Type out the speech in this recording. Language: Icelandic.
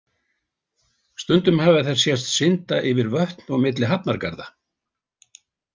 Stundum hafa þær sést synda yfir vötn og milli hafnargarða.